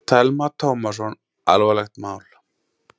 Telma Tómasson: Alvarlegt mál?